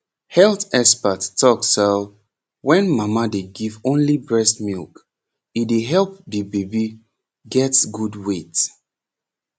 health expert talk sau wen mama dey give only breast milk e dey help de baby get good weight